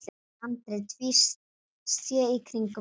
Andri tvísté í kringum hann.